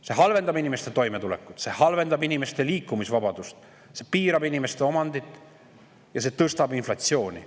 See halvendab inimeste toimetulekut, see inimeste liikumisvabadust, see piirab inimeste omandit ja tõstab inflatsiooni.